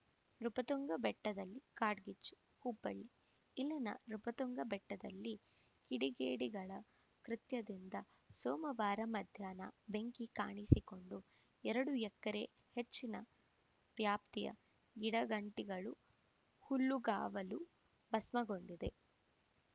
ನೃಪತುಂಗ ಬೆಟ್ಟದಲ್ಲಿ ಕಾಡ್ಗಿಚ್ಚು ಹುಬ್ಬಳ್ಳಿ ಇಲ್ಲಿನ ನೃಪತುಂಗ ಬೆಟ್ಟದಲ್ಲಿ ಕಿಡಿಗೇಡಿಗಳ ಕೃತ್ಯದಿಂದ ಸೋಮವಾರ ಮಧ್ಯಾಹ್ನ ಬೆಂಕಿ ಕಾಣಿಸಿಕೊಂಡು ಎರಡು ಎಕರೆಗೂ ಹೆಚ್ಚಿನ ವ್ಯಾಪ್ತಿಯ ಗಿಡಗಂಟಿಗಳು ಹುಲ್ಲುಗಾವಲು ಭಸ್ಮಗೊಂಡಿದೆ